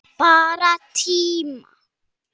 Bara tíma